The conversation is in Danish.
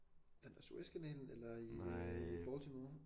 Den der Suezkanalen eller i Baltimore